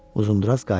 Uzundraz qayıtdı.